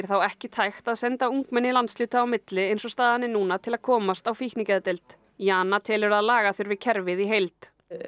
þá ekki tækt að senda ungmenni landshluta á milli eins og staðan er núna til að komast á fíknigeðdeild Jana telur að laga þurfi kerfið í heild